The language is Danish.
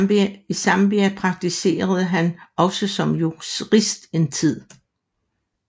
I Zambia praktiserede han også som jurist en tid